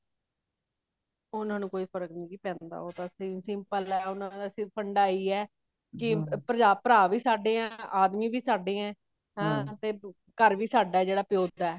ਉਹਨਾ ਨੂੰ ਨੀ ਜੀ ਕੋਈ ਫਰਕ ਪੈਂਦਾ ਉਹਨਾ ਦਾ ਸਿਰ ਫੰਡਾ ਇਹੀ ਹੈ ਕੀ ਭਰਾ ਵੀ ਸਾਡੇ ਆ ਆਦਮੀ ਵੀ ਸਾਡੇ ਆ ਘਰ ਵੀ ਸਾਡਾ ਜਿਹੜਾ ਪਿਓ ਦਾ